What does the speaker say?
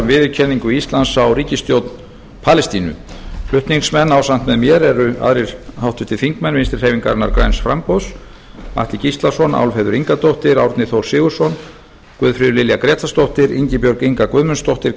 viðurkenningu íslands á ríkisstjórn palestínu flutningsmenn ásamt með mér eru aðrir háttvirtir þingmenn vinstri hreyfingarinnar græns framboðs atli gíslason álfheiður ingadóttir árni þór sigurðsson guðfríður lilja grétarsdóttir ingibjörg inga guðmundsdóttir